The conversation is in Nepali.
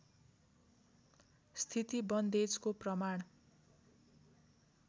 स्थिती बन्देजको प्रमाण